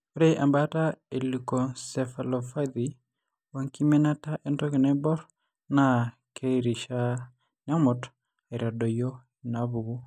Ore embaata eleukoencephalopathye oenkiminata entoki naibor naa keirishaa, nemut aitadoyio inaapuku.